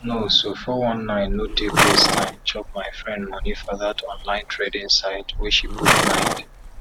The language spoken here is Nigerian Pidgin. no so four one nine no take waste time chop my friend moni for dat online trading site wey she put mind